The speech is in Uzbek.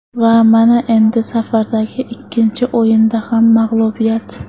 Va mana endi safardagi ikkinchi o‘yinda ham mag‘lubiyat.